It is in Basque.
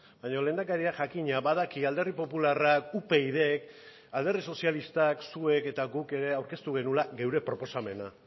baina lehendakariak jakina badaki alderdi popularra upyd k alderdi sozialistak zuek eta guk ere aurkeztu genuela geure proposamena